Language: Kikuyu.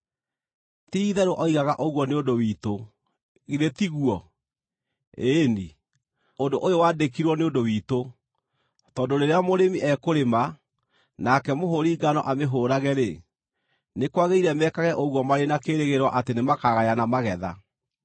Ti-itherũ oigaga ũguo nĩ ũndũ witũ, githĩ tiguo? Ĩĩ-ni, ũndũ ũyũ waandĩkirũo nĩ ũndũ witũ, tondũ rĩrĩa mũrĩmi ekũrĩma, nake mũhũũri ngano amĩhũũrage-rĩ, nĩ kwagĩrĩire mekage ũguo marĩ na kĩĩrĩgĩrĩro atĩ nĩmakagayana magetha.